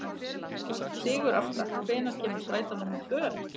Sigurásta, hvenær kemur strætó númer tvö?